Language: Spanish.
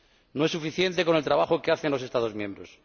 No es suficiente con el trabajo que hacen los Estados miembros.